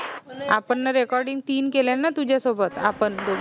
आपन न recording तीन केल्या न तुझ्या सोबत आपन दोघी